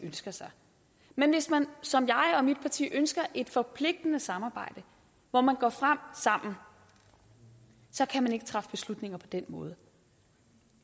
ønsker sig men hvis man som jeg og mit parti ønsker et forpligtende samarbejde hvor man går frem sammen så kan man ikke træffe beslutninger på den måde